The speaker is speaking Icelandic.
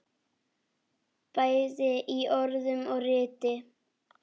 Bæði í orðum og riti.